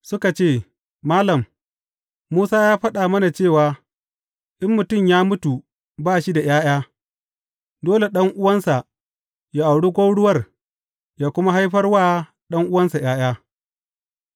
Suka ce Malam, Musa ya faɗa mana cewa in mutum ya mutu ba shi da ’ya’ya, dole ɗan’uwansa yă auri gwauruwar yă kuma haifar wa ɗan’uwan ’ya’ya.